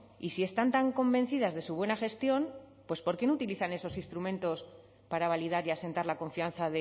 y si están tan convencidas de su buena gestión pues por qué no utilizan esos instrumentos para validar y asentar la confianza